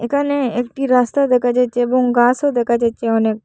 একানে একটি রাস্তা দেখা যাচচে এবং গাসও দেকা যাচচে অনেক।